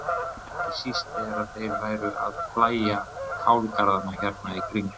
Ekki síst þegar þeir væru að plægja kálgarðana hér í kring.